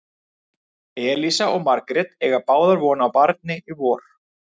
Elísa og Margrét eiga báðar von á barni í vor.